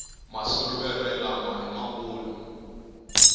masuluvere lama ima kulu